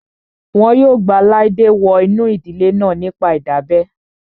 Wọn yóò gba Laide wọ inú ìdílé náà nípa ìdábẹ́